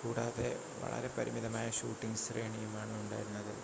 കൂടാതെ വളരെ പരിമിതമായ ഷൂട്ടിംഗ് ശ്രേണിയുമാണ് ഉണ്ടായിരുന്നത്